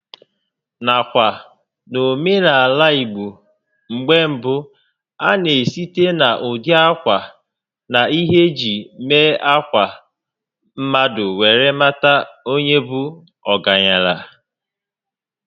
Nakwa, n'omenaala ìgbo mgbé mbụ, a na esite na ụdị ákwà na ihé eji mee ákwà mmadụ were mata onye bụ ọgaranya